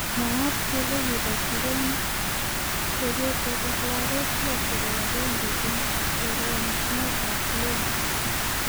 Mwaat kele kibar Lem chepyoset ak lagook lo chebo agenge eng choronok ab Loan